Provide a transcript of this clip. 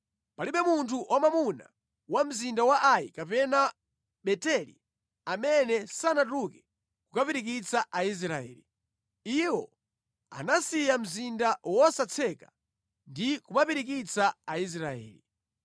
Palibe munthu wamwamuna wa mzinda wa Ai kapena wa Beteli amene sanatuluke kukapirikitsa Aisraeli. Iwo anasiya mzinda wosatseka ndi kumapirikitsa Aisraeli.